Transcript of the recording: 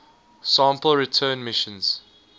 sample return missions